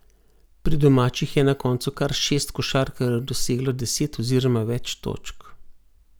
Pri domačih je na koncu kar šest košarkarjev doseglo deset oziroma več točk.